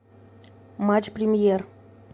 матч премьер